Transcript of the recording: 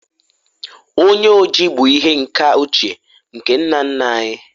onye oji bu ihe nka ochie nke nna nna anyi